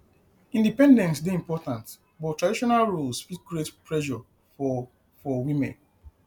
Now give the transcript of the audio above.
independence dey important but traditional roles fit create pressure for for women